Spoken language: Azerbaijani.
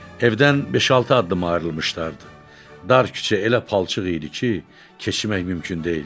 Evdən beş-altı addım ayrılmışdılar, dar küçə elə palçıq idi ki, keçmək mümkün deyildi.